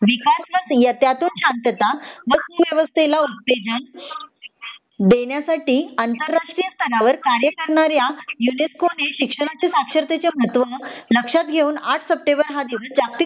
विकास व त्यातून शांतता अवस्थेला उत्तेजन देनेसाठी आंतरराष्ट्रीय स्तरावर कार्य करणाऱ्या युनिस्को ने शिक्षणाचे साक्षरतेचे महत्व लक्षात घेऊन आठ सेप्टेंबर हा दिवस जागतिक